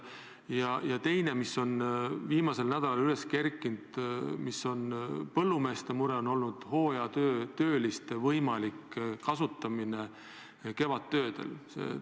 Teine küsimus, mis on viimasel nädalal üles kerkinud, on põllumeeste mure, kas hooajatöölisi on võimalik kevadtöödel kasutada.